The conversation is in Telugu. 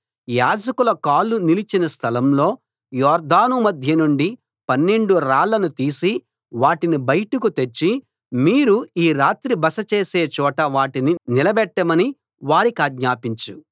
యాజకుల కాళ్లు నిలిచిన స్థలం లో యొర్దాను మధ్య నుండి పన్నెండు రాళ్లను తీసి వాటిని బయటికి తెచ్చి మీరు ఈ రాత్రి బస చేసే చోట వాటిని నిలబెట్టమని వారి కాజ్ఞాపించు